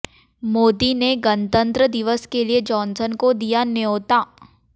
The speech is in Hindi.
मोदी ने गणतंत्र दिवस के लिए जॉनसन को दिया न्योता